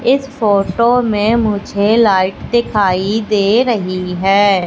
इस फोटो में मुझे लाइट दिखाई दे रही है।